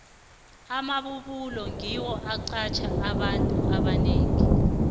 amabubulo ngiwo aqatjha abantu abanengi